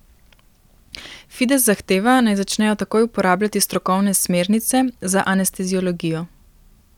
Fides zahteva, naj začnejo takoj uporabljati strokovne smernice za anesteziologijo.